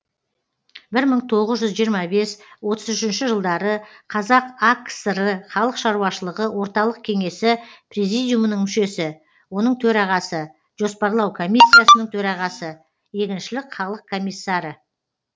бір мың тоғыз жүз жиырма бес отыз үшінші жылдары қазақ акср халық шаруашылығы орталық кеңесі президиумының мүшесі оның төрағасы жоспарлау комиссиясының төрағасы егіншілік халық комиссары